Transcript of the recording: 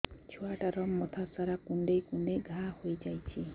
ଛୁଆଟାର ମଥା ସାରା କୁଂଡେଇ କୁଂଡେଇ ଘାଆ ହୋଇ ଯାଇଛି